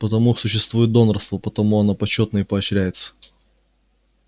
потому существует донорство потому оно почётно и поощряется